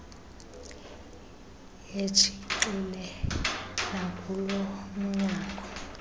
etshixile nakulo mnyango